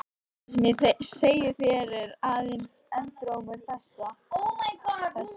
Það sem ég segi þér er aðeins endurómur þess.